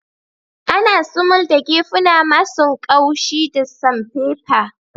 Ana sumul da gefuna masun kaushi da samfefa.